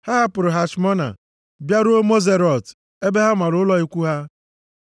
Ha hapụrụ Hashmona bịaruo Moserot ebe ha mara ụlọ ikwu ha.